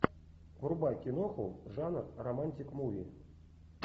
врубай киноху жанр романтик муви